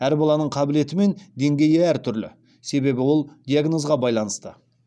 әр баланың қабілеті мен деңгейі әртүрлі себебі ол диганозға байланысты